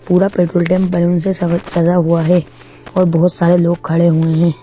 पूरा पेट्रोल डेम बलून से सजा हुआ है और बहुत सारे लोग खड़े हुए हैं।